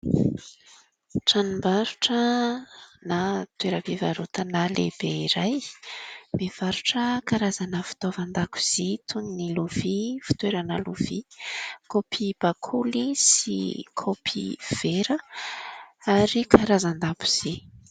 Tranom-barotra na toeram-pivarotana lehibe iray mivarotra karazana fitaovan-dakozia toy ny lovia, fitoerana lovia, kaopy bakoly sy kaopy vera ary karazan-dabozia.